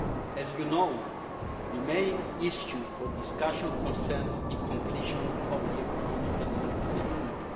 As you know, the main issue for discussion concerns the completion of Economic and Monetary Union.